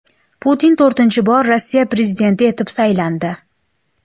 Putin to‘rtinchi bor Rossiya prezidenti etib saylandi.